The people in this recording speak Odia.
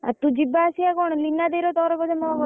ଆଉ ତୁ ଯିବା ଆସିବା କଣ ମୀନା ଦେଇର ତୋର ବୋଧେ ।